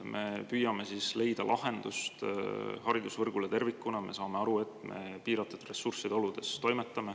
Me püüame leida lahendust haridusvõrgule tervikuna, me saame aru, et me toimetame piiratud ressursside oludes.